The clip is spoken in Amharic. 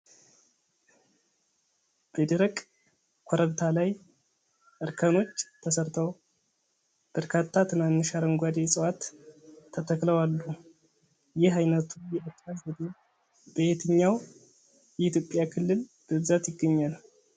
በደረቅ ኮረብታ ላይ እርከኖች ተሰርተው በርካታ ትናንሽ አረንጓዴ ዕፅዋት ተተክለው አሉ። ይህ ዓይነቱ የእርሻ ዘዴ በየትኛው የኢትዮጵያ ክልል በብዛት ይገኛል?